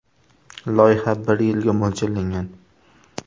Loyiha bir yilga mo‘ljallangan.